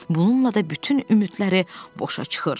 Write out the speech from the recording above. Bununla da bütün ümidləri boşa çıxır.